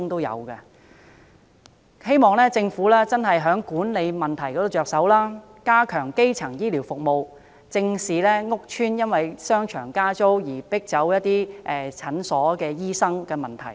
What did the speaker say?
我希望政府從醫院管理局的管理問題方面着手，加強基層醫療服務，正視屋邨因為商場加租而迫走診所醫生的問題。